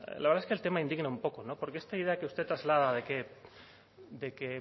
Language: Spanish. la verdad es que el tema indigna un poco porque esta idea que usted traslada de que